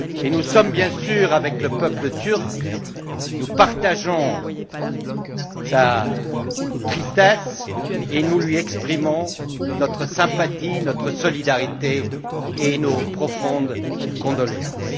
Nous sommes bien sûr avec le peuple turc, nous partageons sa tristesse et nous lui exprimons notre sympathie, notre solidarité et nos profondes condoléances.